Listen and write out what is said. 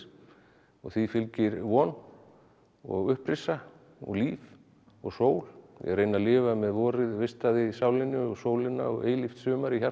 og því fylgir von og upprisa og líf og sól ég reyni að lifa með vorið vistað í sálinni og sólina og eilíft sumar í hjarta